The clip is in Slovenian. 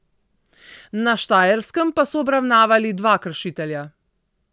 Na Štajerskem pa so obravnavali dva kršitelja.